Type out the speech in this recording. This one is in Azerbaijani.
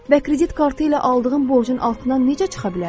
Və kredit kartı ilə aldığım borcun altından necə çıxa bilərəm?